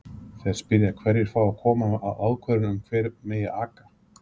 Þeir spyrja hverjir fái að koma að ákvörðun um hvar megi aka?